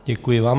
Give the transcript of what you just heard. Děkuji vám.